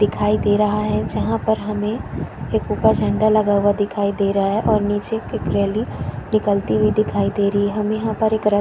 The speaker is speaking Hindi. दिखाई दे रहा है जहाँ पर हमें एक ऊपर झंडा लगा हुआ दिखाई दे रहा है और नीचे की ट्रॉली निकलती हुहि दिखाई दे रही है हम यहाँ पर एक रथ --